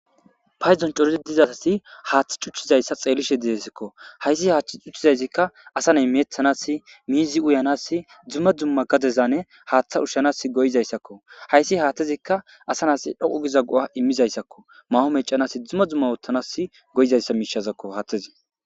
payzon corizi dizasasi haaththi cuchchizayssa xeelishe dizesikko hayssi haachchi cuchizayzikka asa ney meethanas miizi uyanas dzumma dzumma gadezane haaththa ushshanas goyizayssakko hayssi haathtezikka asa nas dhoqu giza go7a immizayssakko maho mecanas dzumma dzumma woottanas goyizayssa miishazakko haathtezi